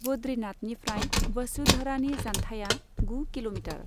बद्रीनाथनिफ्राय वसुधरानि जान्थाया गु किल'मिटार।